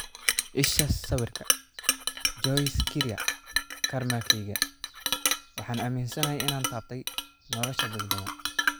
Isha sawirka, Joyce Kiria Karmakayga waxaan aaminsanahay inaan taabtay nolosha dad badan.